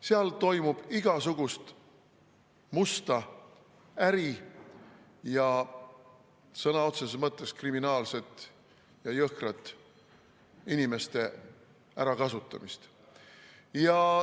Seal toimub igasugust musta äri ja sõna otseses mõttes kriminaalset ja jõhkrat inimeste ärakasutamist.